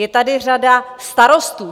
Je tady řada starostů.